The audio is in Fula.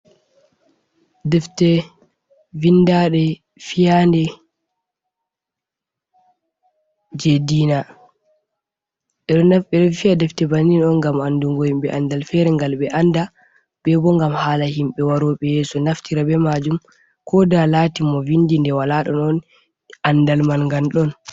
Defte vinda ɗe fiyade jei dina ɓeɗo naf ɓeɗo fiya defte on ngam andungo himɓe andal fere ngal ɓe anda be bo ngam hala himɓe waroɓe yeso naftira be majum ko da lati mo vindi ndei wala ɗon on andal man gal ɗon.